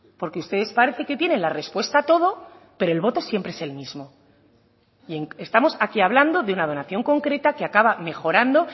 porque ustedes parece que tienen la respuesta a todo pero el voto siempre es el mismo y estamos aquí hablando de una donación concreta que acaba mejorando